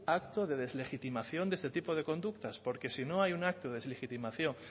acto de deslegitimación de este tipo de conductas porque si no hay un acto de deslegitimación